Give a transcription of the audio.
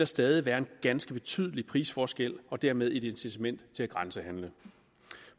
stadig være en ganske betydelig prisforskel og dermed et incitament til at grænsehandle